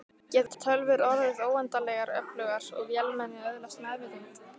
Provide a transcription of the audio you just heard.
Geta tölvur orðið óendanlegar öflugar og vélmenni öðlast meðvitund?